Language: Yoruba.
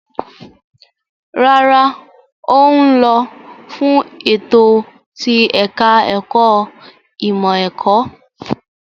Rárá, ó ń lọ fún ètò ti ẹ̀ka-ẹ̀kọ́ ìmọ̀-ẹ̀kọ́.